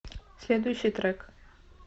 следующий трек